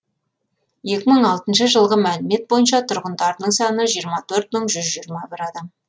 екі мың алтыншы жылғы мәліметтер бойынша тұрғындарының саны жиырма төрт мың жүз жиырма бір адам